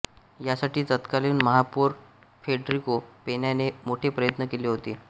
यासाठी तत्कालीन महापौर फेडरिको पेन्याने मोठे प्रयत्न केले होते